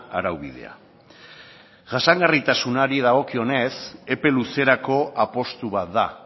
araubidea jasangarritasunari dagokionez epe luzerako apustu bat da